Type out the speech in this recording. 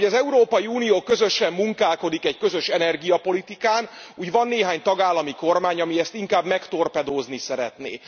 Ahogy az Európai Unió közösen munkálkodik egy közös energiapolitikán, úgy van néhány tagállami kormány, ami ezt inkább megtorpedózni szeretné.